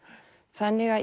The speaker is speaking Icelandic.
þannig að